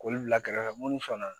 K'olu bila kɛrɛfɛ minnu fana na